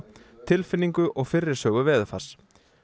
tilfinningu og fyrri sögu veðurfars